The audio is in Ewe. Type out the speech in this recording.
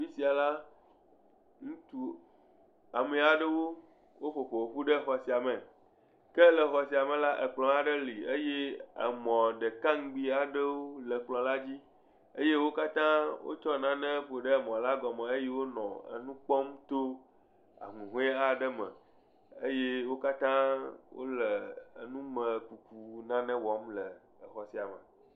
Afi sia la, ŋutsu ame aɖewo woƒo ƒoƒu ɖe xɔ sia me, ke le xɔ sia me la, ekplɔ aɖe li eye emɔ ɖeka ŋugbi aɖewo le ekplɔ la dzi eye wo katã wo tsɔ nane ƒo ɖe eme la gɔme eye wonɔ nu kpɔm to aŋuŋɔe aɖe me eye wo katã wole enumekuku wɔm le exɔ sia me.